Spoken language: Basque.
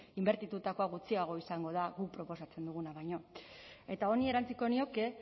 inbertitutakoa gutxiago izango da guk proposatzen duguna baino eta honi erantsiko nioke